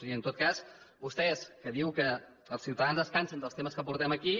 i en tot cas vostè que diu que els ciutadans es cansen dels temes que portem aquí